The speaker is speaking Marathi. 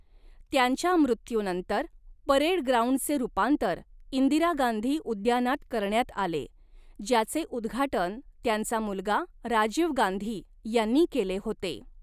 त्यांच्या मृत्यूनंतर, परेड ग्राउंडचे रुपांतर इंदिरा गांधी उद्यानात करण्यात आले, ज्याचे उद्घाटन त्यांचा मुलगा राजीव गांधी यांनी केले होते.